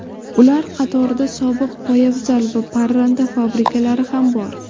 Ular qatorida sobiq poyafzal va parranda fabrikalari ham bor.